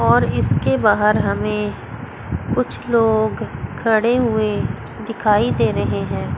और इसके बाहर हमें कुछ लोग खड़े हुए दिखाई दे रहे हैं।